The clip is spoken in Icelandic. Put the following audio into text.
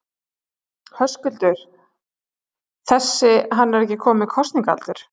Höskuldur: Þessi, hann er ekki kominn með kosningaaldur?